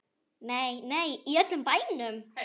Nei, nei, í öllum bænum.